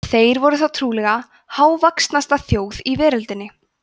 þeir voru þá trúlega hávaxnasta þjóð í veröldinni